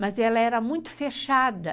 Mas ela era muito fechada.